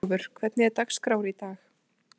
Ásólfur, hvernig er dagskráin í dag?